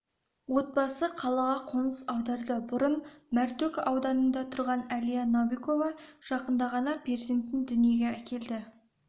отбасы қалаға қоныс аударды бұрын мәртөк ауданында тұрған әлия новикова жақында ғана перзентін дүниеге әкелді